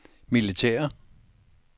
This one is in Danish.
militære